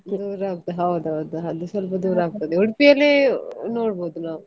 ದೂರ ಆಗ್ತದೆ ಹೌದೌದು, ಅದು ಸ್ವಲ್ಪ ದೂರ ಆಗ್ತದೆ Udupi ಯಲ್ಲಿ ನೋಡ್ಬೋದು ನಾವು.